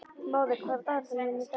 Móði, hvað er á dagatalinu mínu í dag?